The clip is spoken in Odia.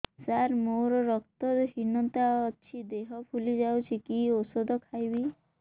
ସାର ମୋର ରକ୍ତ ହିନତା ଅଛି ଦେହ ଫୁଲି ଯାଉଛି କି ଓଷଦ ଖାଇବି